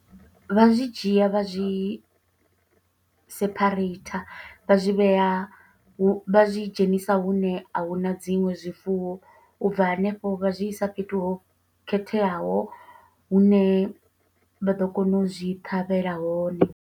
Vha zwi dzhia vha zwi sephareitha, vha zwi vhea hu, vha zwi dzhenisa hune a huna dziṅwe zwifuwo. U bva hanefho vha zwi i sa fhethu ho khetheaho, hune vha ḓo kona u zwi ṱhavhela hone.